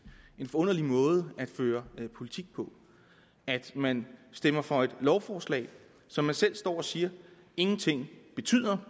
og forunderlig måde at føre politik på at man stemmer for et lovforslag som man selv står og siger ingenting betyder